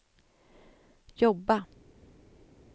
jobba